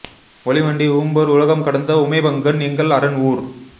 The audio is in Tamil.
ஒளி மண்டி உம்பர் உலகம் கடந்த உமைபங்கன் எங்கள் அரன் ஊர்